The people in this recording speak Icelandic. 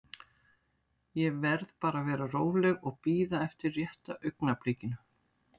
Ég verð bara að vera róleg og bíða eftir rétta augnablikinu.